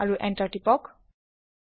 আৰু প্ৰেছ কৰক Enter